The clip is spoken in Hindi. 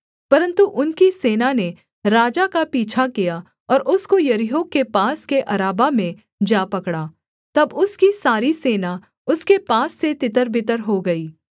परन्तु उनकी सेना ने राजा का पीछा किया और उसको यरीहो के पास के अराबा में जा पकड़ा तब उसकी सारी सेना उसके पास से तितरबितर हो गई